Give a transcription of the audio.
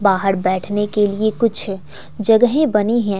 बाहर बैठने के लिए कुछ जगह बनी हैं।